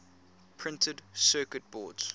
printed circuit boards